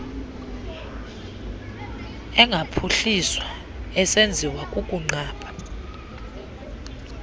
engaphuhliswa esenziwa kukunqaba